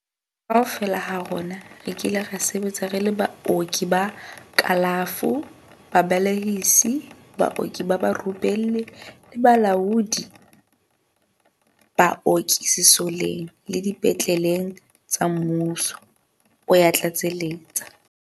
Kaofela ha rona re kile ra sebetsa re le baoki ba kalafo, babe lehisi, baoki barupelli le balaodi ba baoki sesoleng le dipetle leng tsa mmuso, o ya tlatseletsa.